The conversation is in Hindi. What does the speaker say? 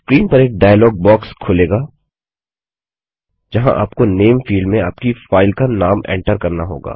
स्क्रीन पर एक डाइलॉग बॉक्स खुलेगा जहाँ आपको नामे फील्ड में आपकी फाइल का नाम एन्टर करना होगा